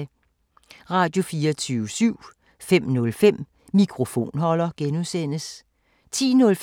Radio24syv